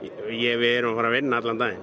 við erum að fara að vinna allan daginn